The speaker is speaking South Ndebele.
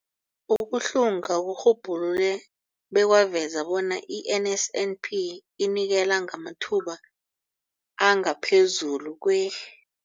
Ukuhlunga kurhubhulule bekwaveza bona i-NSNP inikela ngamathuba angaphezulu kwe-